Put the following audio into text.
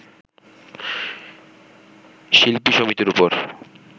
শিল্পী সমিতির ওপর